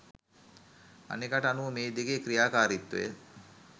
අනෙකට අනුව මේ දෙකේ ක්‍රියාකාරීත්වය